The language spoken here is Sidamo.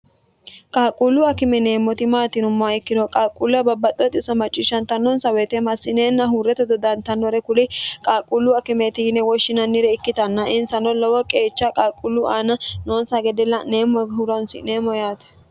qaaqquullu akime yineemmoti maati yinummoha ikkiro qaalquulla babbaxxitewo xisso macciishshantannonsa woyite massineenna huurreto dodantannore kuli qaaqquullu akimeeti yine woshshinannire ikkitanna insano lowo qeecha qaaqquullu aana noonsa gede la'neemmo horonsi'neemmo yaate